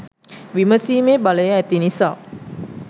විමසීමේ බලය ඇති නිසා